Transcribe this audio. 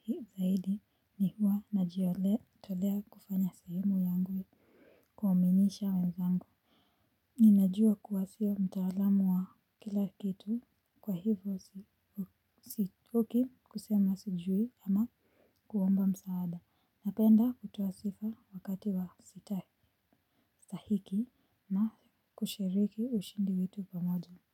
hiu zaidi ni huwa najiolea tolea kufanya sehemu yangu kuaminisha wenzangu. Ninajua kuwa sio mtaalamu wa kila kitu kwa hivyo sitoki kusema sijui ama kuomba msaada. Napenda kutoa sifa wakati wa sitali tahiki na kushiriki ushindi wetu pamoja.